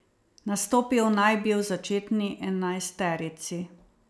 Nastopil naj bi v začetni enajsterici.